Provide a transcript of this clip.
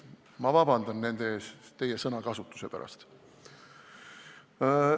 Ma vabandan nende ees teie sõnakasutuse pärast.